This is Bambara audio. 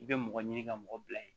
I bɛ mɔgɔ ɲini ka mɔgɔ bila ye